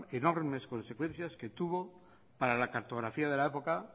enormes consecuencias que tuvo para la cartografía de la época